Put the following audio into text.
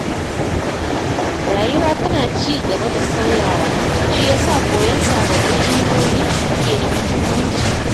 Rayuwa tana ci gaba da sauyawa, shi yasa koyon sababbi ilimomi ke da mahimmanci.